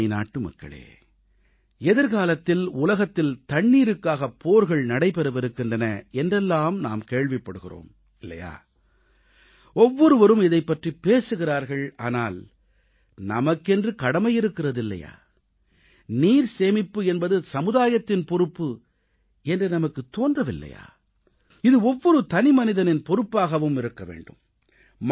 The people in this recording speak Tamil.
எனதருமை நாட்டுமக்களே எதிர்காலத்தில் உலகத்தில் தண்ணீருக்காக போர்கள் நடைபெறவிருக்கின்றன என்றெல்லாம் நாம் கேள்விப் படுகிறோம் இல்லையா ஒவ்வொருவரும் இதைப்பற்றிப் பேசுகிறார்கள் ஆனால் நமக்கென்று கடமை இருக்கிறது இல்லையா நீர் சேமிப்பு என்பது சமுதாயத்தின் பொறுப்பு என்று நமக்குத் தோன்றவில்லையா இது ஒவ்வொரு தனிமனிதனின் பொறுப்பாகவும் இருக்க வேண்டும்